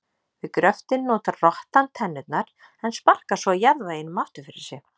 Við gröftinn notar rottan tennurnar en sparkar svo jarðveginum aftur fyrir sig.